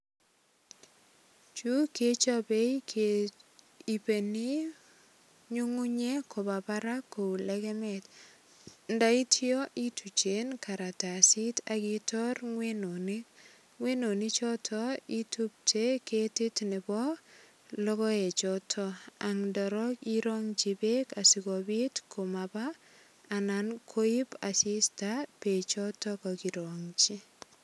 Chu kechope kehipeni nyungunyek koba barak kou legemet. Ndaityo ituchen karatasit ak itor iwenonik. Iwenoni choto itupche ketit nebo logoechoto ak ndarok itongchi beek asigopit komaba anan koip asista beechoto kakirongchi.